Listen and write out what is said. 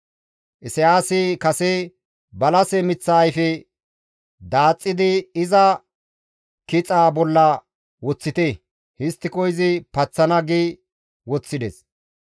Isayaasi kase, «Balase miththa ayfe daaxxidi, iza kixaa bolla woththite. Histtiko izi paxana» gi woththides.